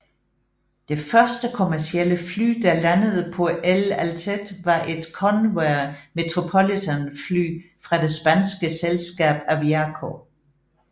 Det første kommercielle fly der landede på El Altet var et Convair Metropolitan fly fra det spanske selskab Aviaco